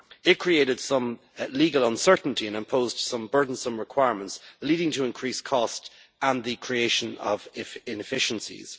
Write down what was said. It created some legal uncertainty and imposed some burdensome requirements, leading to increased cost and the creation of inefficiencies.